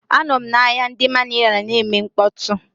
Anọm na ahịa ndi Manila na-eme mkpọtụ.